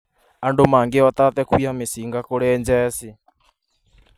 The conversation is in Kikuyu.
Andũ mangĩhota atĩa kũiya mĩcinga kũrĩ jeshi?